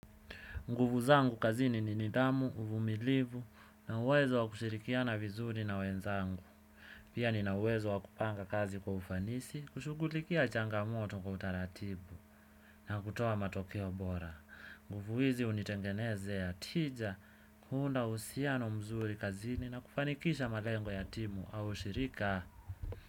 Nguvu zangu kazini ni nidhamu, uvumilivu na uwezo wa kushikiana vizuri na wenzangu pia ni na uwezo wa kupanga kazi kwa ufanisi, kushugulikia changa moto kwa utaratibu, na kutoa matokeo bora. Nguvu hizi hunitengenezea tija, kuunda uhusiano mzuri kazini na kufanikisha malengo yatimu au shirika.